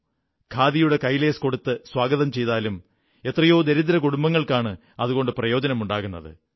ഖാദിയുടെ കൈലേസ് കൊടുത്തു സ്വാഗതം ചെയ്താലും എത്രയോ ദരിദ്രകുടുംബങ്ങൾക്കാണ് അതുകൊണ്ട് പ്രയോജനമുണ്ടാകുന്നത്